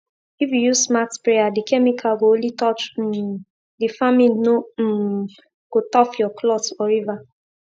if you use smart sprayer the chemical go only touch um the farmin no um go tough your clothe or river